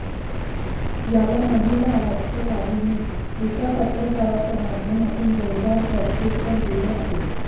याला महिला राष्ट्रवादीने एका पत्रकाच्या माध्यमातून जोरदार प्रत्युत्तर दिले आहे